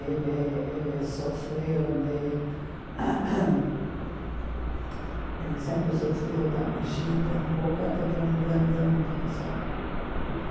Ele ele sofreu de... Ele sempre sofreu da bexiga um pouco, até que um dia deu um câncer.